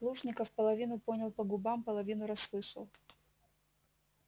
плужников половину понял по губам половину расслышал